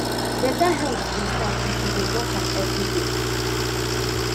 better health dey start if you dey watch am every day